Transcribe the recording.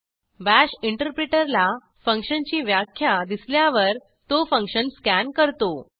bash interpreter ला फंक्शनची व्याख्या दिसल्यावर तो फंक्शन स्कॅन करतो